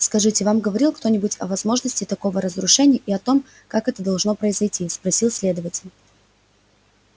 скажите вам говорил кто-нибудь о возможности такого разрушения и о том как это должно произойти спросил следователь